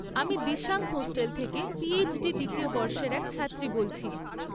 আমি দিসাং হস্টেল থেকে পিএইচডি দ্বিতীয় বর্ষের এক ছাত্রী বলছি।